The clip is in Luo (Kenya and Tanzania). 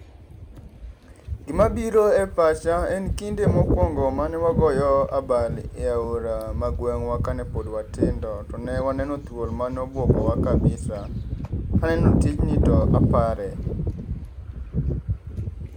Gima biro e pacha en kinde mokwongo mane wagoyo abal e aora magweng'wa kane pod watindo to ne waneno thuol manobuogowa kabisa kaneno tij ni to apare.